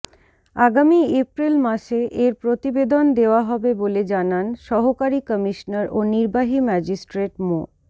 আগামী এপ্রিল মাসে এর প্রতিবেদন দেওয়া হবে বলে জানান সহকারী কমিশনার ও নির্বাহী ম্যাজিস্ট্রেট মো